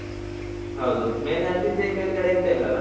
ಹೌದು, ಮೇಲೆ ಹತ್ತಿದ್ರೆ ಮೇಳ್ಗಡೆ ಎಂತ ಇಲ್ಲಲ್ಲ?